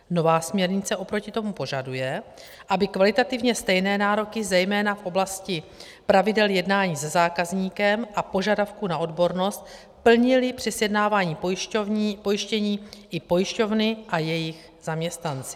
Nová směrnice oproti tomu požaduje, aby kvalitativně stejné nároky, zejména v oblasti pravidel jednání se zákazníkem a požadavků na odbornost, plnily při sjednávání pojištění i pojišťovny a jejich zaměstnanci.